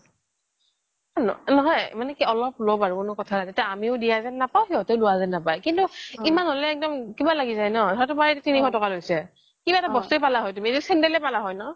নহয় অলপ লওক বাৰু কোনো কথা নাই এটিয়া আমিও দিয়া যেন নাপাও সিহতেও লোৱা যেন নাপাও কিন্তু ইমান হলে একদম কিবা লাগি যায় ন হয়তো মই তিনিশ টকা লৈছে কিবা এটা বস্তু এ পালা হয় চেন্ডেলে পালা হয় ন